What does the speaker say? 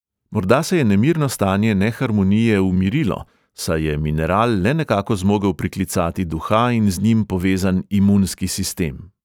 Morda se je nemirno stanje neharmonije umirilo, saj je mineral le nekako zmogel priklicati duha in z njim povezan imunski sistem?